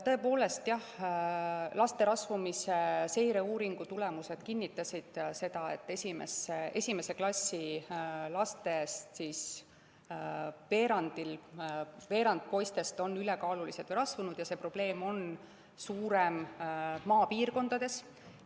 Tõepoolest, jah, laste rasvumise seireuuringu tulemused kinnitasid seda, et esimese klassi poistest veerand on ülekaalulised või rasvunud ja see probleem on suurem maapiirkondades.